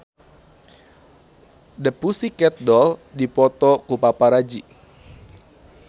The Pussycat Dolls dipoto ku paparazi